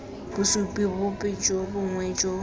bosupi bope jo bongwe jo